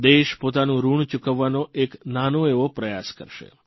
દેશ પોતાનું ઋણ ચૂકવવાનો એક નાનો એવો પ્રયાસ કરશે